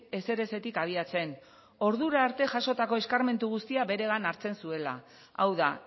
ezerezetik abiatzen ordura arte jasotako eskarmentu guztia beregana hartzen zuela hau da